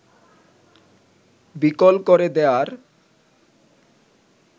বিকল করে দেয়ার